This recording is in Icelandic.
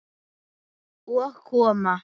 Og koma